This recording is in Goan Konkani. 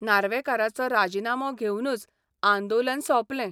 नार्वेकाराचो राजिनामो घेवनूच आंदोलन सौंपलें.